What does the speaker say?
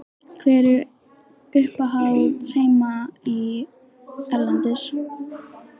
Hver eru uppáhaldslið þín heima og erlendis?